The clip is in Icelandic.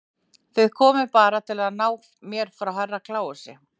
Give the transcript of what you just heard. Þið komuð bara til að ná mér frá Herra Kláusi.